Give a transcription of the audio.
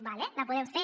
d’acord la podem fer